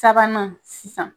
Sabanan sisan